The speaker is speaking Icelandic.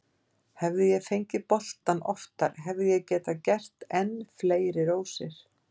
Hefði ég fengið boltann oftar hefði ég getað gert enn fleiri rósir.